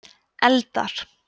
eldar